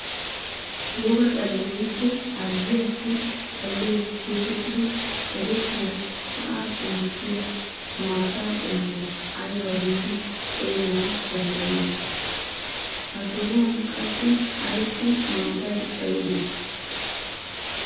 Woga xale woykko harggiyaassi xallees getettidi erettiyaa sa'aappe mokkiyaa maata qommuwaa ayba giidi xeeganawu danddayiyoona? Ha sohuwaan qassi ayssi maatay xayidee?